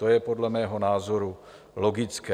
To je podle mého názoru logické.